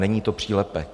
Není to přílepek.